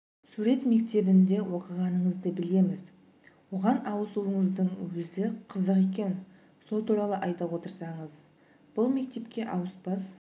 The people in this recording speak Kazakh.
сурет мектебінде оқығаныңызды білеміз оған ауысуыңыздың өзі қызық екен сол туралы айта отырсаңыз бұл мектепке ауыспас